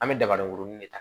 An bɛ daba dɔ kurunin de ta